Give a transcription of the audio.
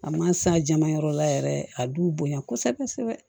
A ma s'a jama yɔrɔ la yɛrɛ a b'u bonya kosɛbɛ kosɛbɛ